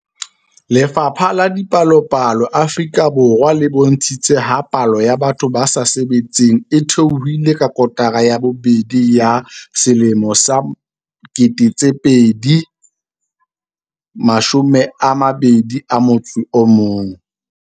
Lefapha la Dipalopalo Afrika Borwa le bontshitse ha palo ya batho ba sa sebetseng e theohile ka kotara ya bobedi ya 2021.